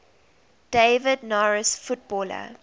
david norris footballer